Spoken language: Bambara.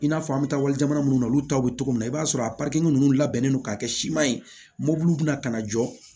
I n'a fɔ an bɛ taa wali jamana minnu na olu taw bɛ cogo min na i b'a sɔrɔ a ninnu labɛnnen don k'a kɛ siman ye mobill ka na jɔ